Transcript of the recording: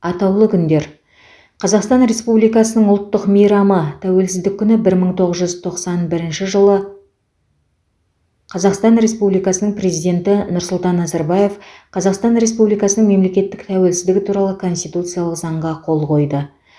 атаулы күндер қазақстан республикасының ұлттық мейрамы тәуелсіздік күні бір мың тоғыз жүз тоқсан бірінші жылы қазақстан республикасының президенті нұрсұлтан назарбаев қазақстан республикасының мемлекеттік тәуелсіздігі туралы конституциялық заңға қол қойды